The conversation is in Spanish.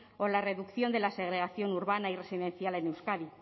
o la reducción de la segregación urbana y residencial en euskadi